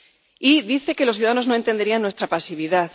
Y dice que los ciudadanos no entenderían nuestra pasividad.